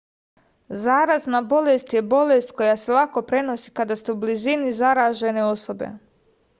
zarazna bolest je bolest koja se lako prenosi kada ste u blizini zaražene osobe